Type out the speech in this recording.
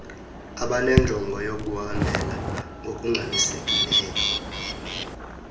abanenjongo yokuhambela ngokungxamisekileyo